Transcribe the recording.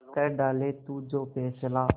कर डाले तू जो फैसला